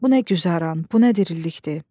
Bu nə güzaran, bu nə dirilikdir.